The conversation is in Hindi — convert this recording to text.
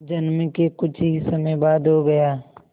जन्म के कुछ ही समय बाद हो गया